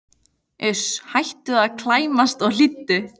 Uss, hættu að klæmast og hlýddu!